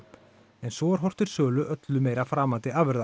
en svo er horft til öllu meira framandi afurða